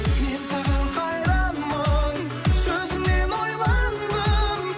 мен саған қайранмын сөзіңнен ойландым